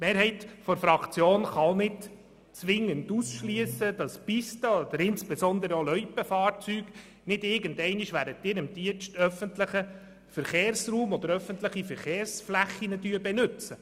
Die Mehrheit unserer Fraktion kann auch nicht zwingend ausschliessen, dass Pisten- oder insbesondere auch Loipenfahrzeuge nicht irgendwann während ihrem Dienst öffentliche Verkehrsflächen benutzen.